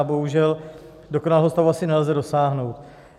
A bohužel dokonalého stavu asi nelze dosáhnout.